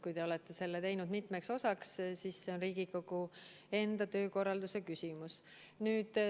Kui te olete teinud selle mitmeks osaks, siis on see Riigikogu enda töökorralduse küsimus.